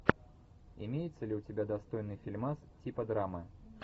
имеется ли у тебя достойный фильмас типа драмы